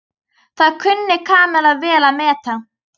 Það kunni Kamilla vel að meta.